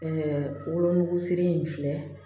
Ɛɛ wolonugusiri in filɛ